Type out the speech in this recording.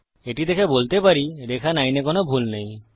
এটি দেখে বলতে পারি রেখা 9 এ কোনো ভুল নেই